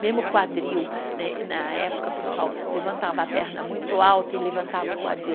Mesmo o quadril, né na época, pessoal, levantava a perna muito alta e levantava o quadril.